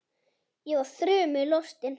Ég var þrumu lostin.